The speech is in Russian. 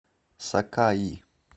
сакаи